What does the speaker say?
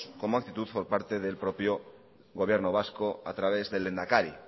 como actitud por parte del propio gobierno vasco a través del lehendakari